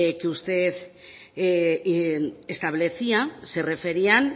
que usted establecía se referían